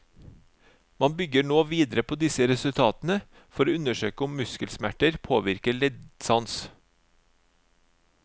Man bygge nå videre på disse resultatene for å undersøke om muskelsmerter påvirker leddsans.